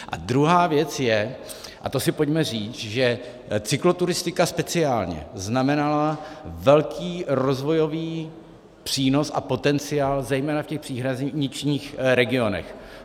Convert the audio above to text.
A druhá věc je, a to si pojďme říct, že cykloturistika speciálně znamenala velký rozvojový přínos a potenciál zejména v těch příhraničních regionech.